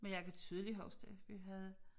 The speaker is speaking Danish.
Men jeg kan tydeligt huske det vi havde